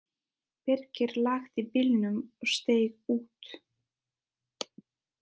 Birkir lagði bílnum og steig út.